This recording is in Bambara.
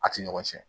A ti ɲɔgɔn cɛn